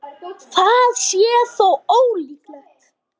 Það sé þó ólíklegt